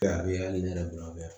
A yali ne yɛrɛ bolo a bɛ yan